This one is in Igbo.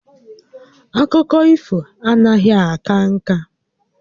Akụkọ ifo anaghị aka ǹkà